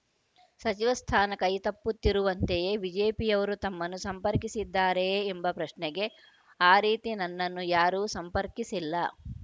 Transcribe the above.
ಸಚಿವ ಸ್ಥಾನ ಕೈ ತಪ್ಪುತ್ತಿರುವಂತೆಯೇ ಬಿಜೆಪಿಯವರು ತಮ್ಮನ್ನು ಸಂಪರ್ಕಿಸಿದ್ದಾರೆಯೇ ಎಂಬ ಪ್ರಶ್ನೆಗೆ ಆ ರೀತಿ ನನ್ನನ್ನು ಯಾರೂ ಸಂಪರ್ಕಿಸಿಲ್ಲ